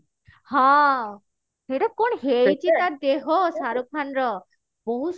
ହଁ ସେଇଟା କଣ ହେଇଛି ବେ ତା ଦେହ ଶାହାରୁଖ ଖାନ ର ବହୁତ